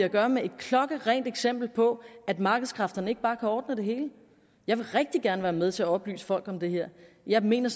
at gøre med et klokkerent eksempel på at markedskræfterne ikke bare kan ordne det hele jeg vil rigtig gerne være med til at oplyse folk om det her jeg mener